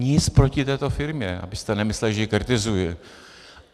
Nic proti této firmě, abyste nemysleli, že ji kritizuji.